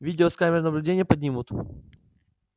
видео с камер наблюдения поднимут